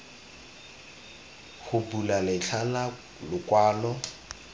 go bula letlha la lokwalo